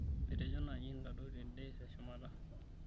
etejo naaji intodou ten'de teshumata